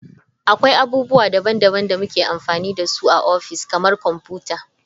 Akwai abubuwa daban-daban da muke amfani da su a ofis, kamar kwamfuta.